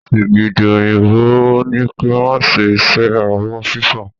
Sìgìdì òyìnbó ó ní pẹ́ máa ṣe iṣẹ́ ẹ abọ́ fífọ̀